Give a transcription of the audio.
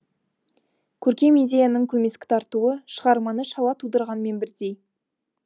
көркем идеяның көмескі тартуы шығарманы шала тудырғанмен бірдей